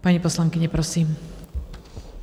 Paní poslankyně, prosím.